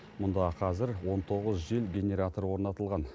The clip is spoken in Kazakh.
мұнда қазір он тоғыз жел генераторы орнатылған